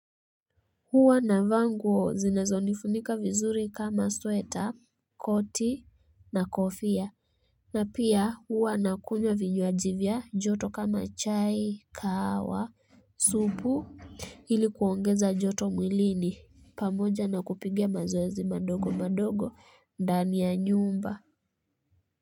Huwa navaa nguo zinazo nifunika vizuri kama sweta koti na kofia na pia huwa na kunywaa vinywaji vya joto kama chai kahawa supu ili kuongeza joto mwilini pamoja na kupiga mazoezi madogo madogo ndani ya nyumba.